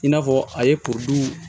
I n'a fɔ a ye kuru